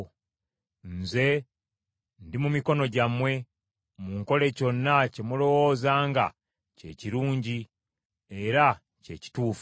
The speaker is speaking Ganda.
Nze, ndi mu mikono gyammwe; munkole kyonna kye mulowooza nga kye kirungi era kye kituufu.